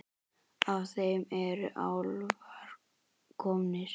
Af þeim eru álfar komnir.